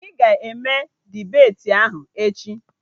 Iwu bụ na ị ga-eme dibeti ahụ echi!